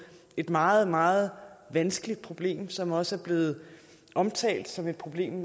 et meget meget vanskeligt problem som også er blevet omtalt som et problem